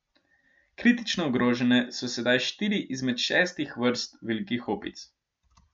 Kritično ogrožene so sedaj štiri izmed šestih vrst velikih opic.